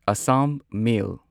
Assam ꯃꯦꯜ